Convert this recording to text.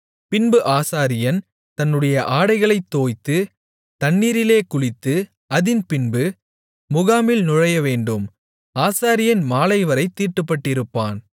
பின்பு ஆசாரியன் தன்னுடைய ஆடைகளைத் தோய்த்து தண்ணீரிலே குளித்து அதின்பின்பு முகாமில் நுழையவேண்டும் ஆசாரியன் மாலைவரைத் தீட்டுப்பட்டிருப்பான்